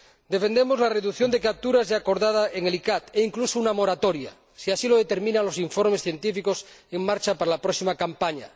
Defendemos la reducción de capturas ya acordada en el ICCAT e incluso una moratoria si así lo determinan los informes científicos en marcha para la próxima campaña.